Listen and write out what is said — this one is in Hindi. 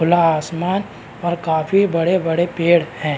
खुला आसमान और काफी बड़े बड़े पेड़ है।